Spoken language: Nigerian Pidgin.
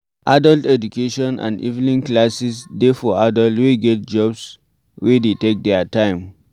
Adult education and evening classes dey for adult wey get jobs wey dey take their time